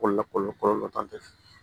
Ko lakɔli